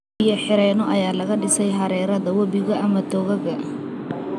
Biyo-xireenno ayaa laga dhisay hareerada webiyada ama togagga.